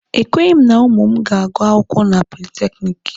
E kweghị m na ụmụ m ga-agụ akwụkwọ na politekiniki.